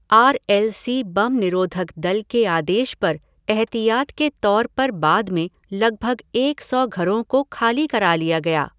Are L C बम निरोधक दल के आदेश पर एहतियात के तौर पर बाद में लगभग एक सौ घरों को खाली करा लिया गया।